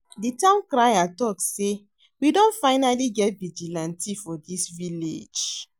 The town crier talk say we don finally get vigilante for dis village